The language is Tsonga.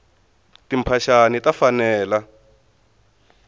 timphaxani taku fanela